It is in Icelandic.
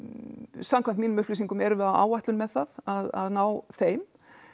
samkvæmt mínum upplýsingum erum við á áætlun með það að ná þeim